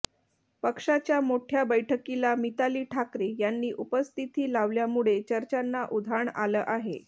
पक्षाच्या मोठ्या बैठकीला मिताली ठाकरे यांनी उपस्थिती लावल्यामुळे चर्चांना उधाण आलं आहे